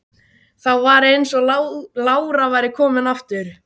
Þá var eins og lára væri komin aftur.